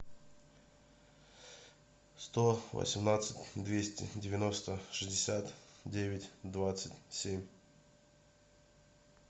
сто восемнадцать двести девяносто шестьдесят девять двадцать семь